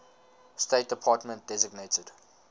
state department designated